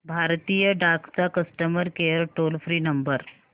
भारतीय डाक चा customer care toll free number